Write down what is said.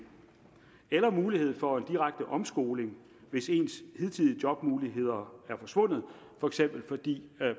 eller mulighed for en direkte omskoling hvis ens hidtidige jobmuligheder er forsvundet for eksempel fordi